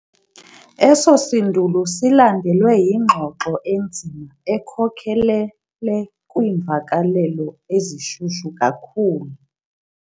Eso sindulo silandelwe yingxoxo enzima ekhokhelele kwiimvakalelo ezishushu kakhulu.